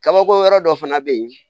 Kabako yɔrɔ dɔ fana bɛ yen